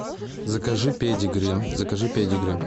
закажи педигри закажи педигри